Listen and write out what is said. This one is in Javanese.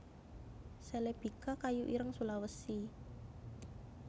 celebica kayu ireng Sulawesi